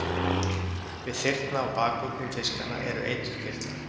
Við þyrna á bakuggum fiskanna eru eiturkirtlar.